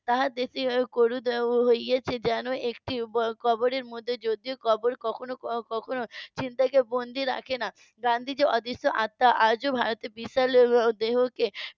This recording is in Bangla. তাদের . হয়েছে যেন একটি কবরের মধ্যে যদিও কবরের মধ্যে যদিও কবর কখনো কখনো চিন্তা কে বন্দি রাখে না গান্ধীজির অদৃশ আত্মা আজ ভারতের বিশাল দেহকে